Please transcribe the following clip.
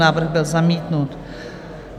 Návrh byl zamítnut.